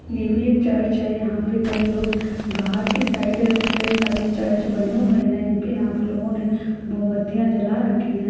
ये भी एक चर्च है यहा पे कई लोग बाहर बाहर के साइड है कई सारे चर्च बने हुए है यहां पे लोगो में मोमबतियां जला रखी है।